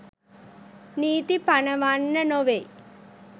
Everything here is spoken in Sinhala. නීතී පනවන්න නොවෙයි.